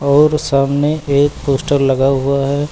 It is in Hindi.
और सामने एक पोस्टर लगा हुआ है।